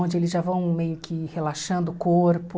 Onde eles já vão meio que relaxando o corpo.